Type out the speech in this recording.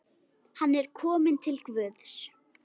Hann er kominn til Guðs.